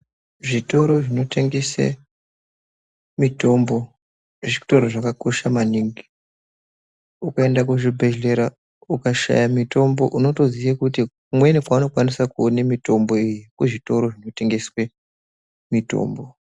Zvitoro zvinotengese mitombo zvitoro zvakakosha maningi. Ukaenda kuzvibhehlera ukashaya mitombo unotoziye kuti kumweni kwaunokwanisa kuone mitombo iyi kuzvitoro zvinotengeswe mitombo.